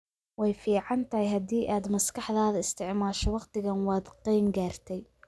Way fiican tahay haddii aad maskaxdaada isticmaasho wakhtigan waad qeeyn gartaay